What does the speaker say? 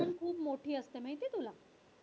खूप मोठी असते माहिती आहे तुला?